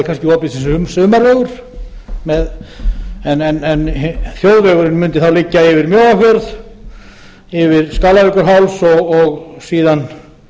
verði kannski opið sem sumarvegur en þjóðvegurinn mundi þá liggja yfir mjóafjörð yfir skálavíkurháls og síðan um